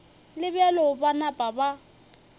le bjalo ba napa ba